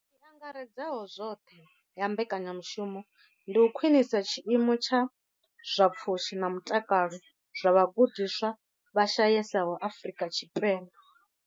I angaredzaho zwoṱhe ya mbekanyamushumo ndi u khwinisa tshiimo tsha zwa pfushi na mutakalo zwa vhagudiswa vha shayesaho Afrika Tshipembe.